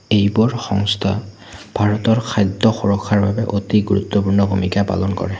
এইবোৰ সংস্থা ভাৰতৰ খাদ্য সুৰক্ষাৰ বাবে অতি গুৰুত্বপূৰ্ণ ভূমিকা পালন কৰে।